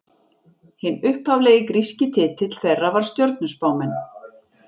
Hinn upphaflegi gríski titill þeirra var stjörnuspámenn.